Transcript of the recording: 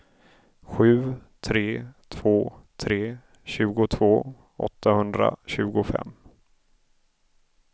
sju tre två tre tjugotvå åttahundratjugofem